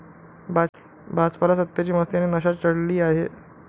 भाजपला सत्तेची मस्ती आणि नशा चढली आहे.